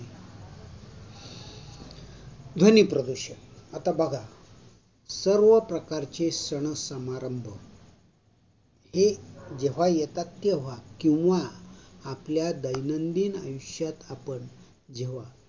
ध्वनी प्रदूषण. आता बघा. सर्व सर्व प्रकारचे सण समारंभ एक जेव्हा येतात तेव्हा किंवा आपल्या दैनंदिन आयुष्यात आपण जेव्हा